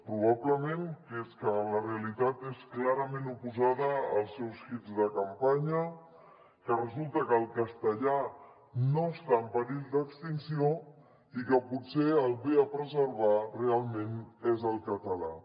probablement que és que la realitat és clarament oposada als seus hits de campanya que resulta que el castellà no està en perill d’extinció i que potser el que ve a preservar realment és el català